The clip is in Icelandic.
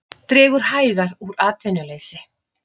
Dregur hægar úr atvinnuleysi